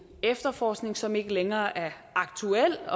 efterforskning som ikke længere er aktuel